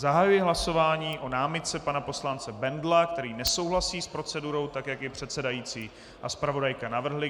Zahajuji hlasování o námitce pana poslance Bendla, který nesouhlasí s procedurou tak, jak ji předsedající a zpravodajka navrhli.